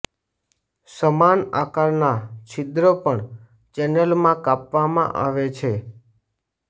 સમાન આકારના છિદ્ર પણ ચેનલમાં કાપવામાં આવે છે